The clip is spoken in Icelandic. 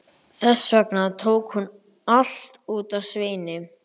Þess vegna tók hún allt út á Sveini.